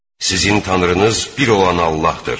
Sizin tanrınız bir olan Allahdır.